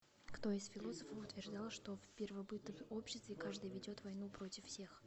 кто из философов утверждал что в первобытном обществе каждый ведет войну против всех